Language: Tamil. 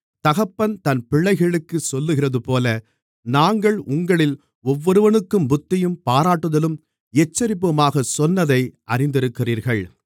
தகப்பன் தன் பிள்ளைகளுக்குச் சொல்லுகிறதுபோல நாங்கள் உங்களில் ஒவ்வொருவனுக்கும் புத்தியும் பாராட்டுதலும் எச்சரிப்புமாகச் சொன்னதை அறிந்திருக்கிறீர்கள்